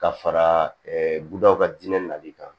Ka fara budaw ka dinɛ nali kan